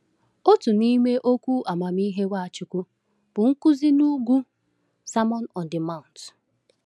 Otu n’ime okwu amamihe Nwachukwu bụ Nkuzi n’Ugwu (Sermon on the Mount).